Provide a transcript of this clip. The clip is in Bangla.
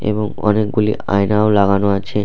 এবং অনেকগুলি আয়নাও লাগানো আছে।